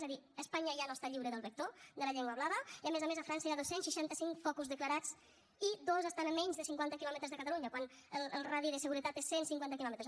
és a dir espanya ja no està lliure del vector de la llengua blava i a més a més a frança hi ha dos cents i seixanta cinc focus declarats i dos estan a menys de cinquanta quilòmetres de catalunya quan el radi de seguretat és cent cinquanta quilòmetres